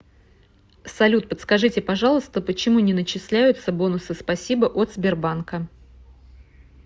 салют подскажите пожалуйста почему не начисляются бонусы спасибо от сбербанка